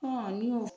ni